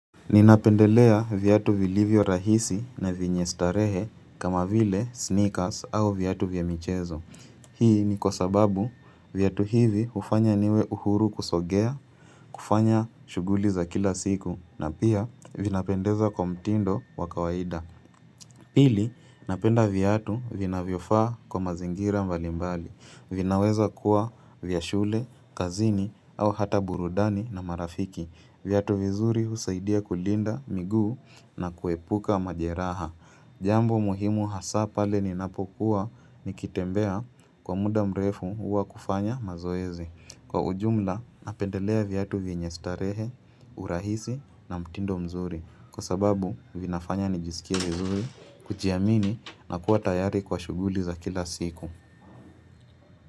Ninapendelea vyatu vilivyo rahisi na vyenye starehe kama vile sneakers au vyatu vya michezo. Hii ni kwa sababu viatu hivi hufanya niwe uhuru kusogea, kufanya shuguli za kila siku, na pia vinapendeza kwa mtindo wabkawaida. Pili, napenda vyatu vinavyofaa kwa mazingira mbalimbali. Vinaweza kuwa vya shule, kazini au hata burudani na marafiki. Viatu vizuri husaidia kulinda miguu na kuepuka majeraha. Jambo muhimu hasa pale ninapokuwa nikitembea kwa muda mrefu huwa kufanya mazoezi. Kwa ujumla napendelea viatu vyenye starehe, urahisi na mtindo mzuri. Kwa sababu vinafanya nijisikie vizuri kujiamini na kuwa tayari kwa shuguli za kila siku.